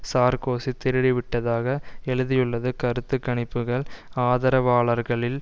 Sarkozy திருடிவிட்டதாக எழுதியுள்ளது கருத்து கணிப்புக்கள் ஆதரவாளர்களில்